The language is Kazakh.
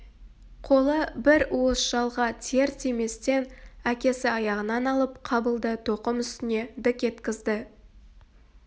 қолы бір уыс жалға тиер-тиместен әкесі аяғынан алып қабылды тоқым үстіне дік еткізді